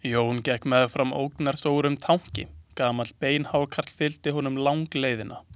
Jón gekk meðfram ógnarstórum tanki, gamall beinhákarl fylgdi honum langleiðina.